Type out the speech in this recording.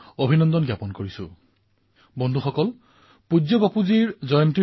২ October তাৰিখে ২ কিলোমিটাৰৰ plogging সমগ্ৰ দেশতে আয়োজিত হব